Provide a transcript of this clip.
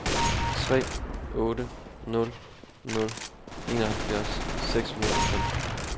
tre otte nul nul enoghalvfjerds seks hundrede og femten